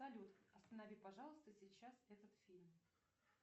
салют останови пожалуйста сейчас этот фильм